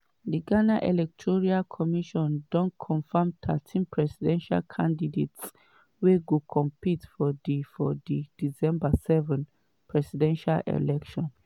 di ghana electoral commission don confam thirteen presidential candidates wey go compete for di for di december 7 presidential election.